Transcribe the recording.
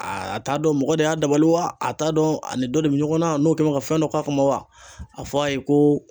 A a t'a dɔn mɔgɔ de y'a dabali wa, a t'a dɔn ani dɔ de bɛ ɲɔgɔn na n'o kɛn bɛ ka fɛn dɔ k'a kɔnɔ wa? A f'a ye ko